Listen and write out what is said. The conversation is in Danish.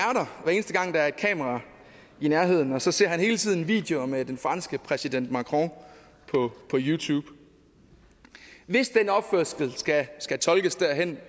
er er et kamera i nærheden og så ser han hele tiden videoer med den franske præsident macron på youtube hvis den opførsel skal tolkes derhen